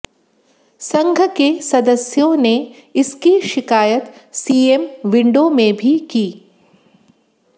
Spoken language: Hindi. संघ के सदस्यों ने इसकी शिकायत सीएम विंडों में भी की